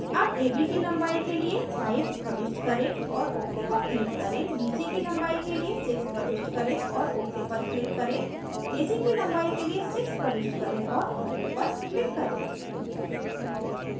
ab ab की लंबाई के लिए 5 प्रविष्ट करें और ok पर click करें bc की लंबाई के लिए 6 प्रविष्ट करें और ok पर click करें ac की लंबाई के लिए 6 प्रविष्ट करें और ok पर click करें